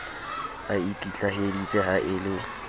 a ikitlaheditse ha e le